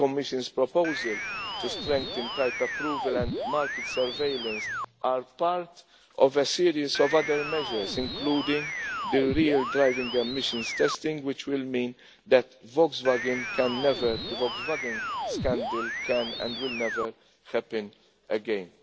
The Commission's proposal to strengthen type approval and market surveillance are part of a series of other measures, including the real driving emissions testing, which will mean that the Volkswagen scandal can, and will, never happen again.